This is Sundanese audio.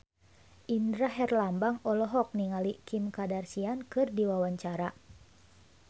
Indra Herlambang olohok ningali Kim Kardashian keur diwawancara